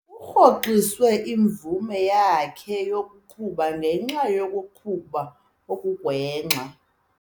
Kurhoxiswe imvume yakhe yokuqhuba ngenxa yokuqhuba okugwenxa.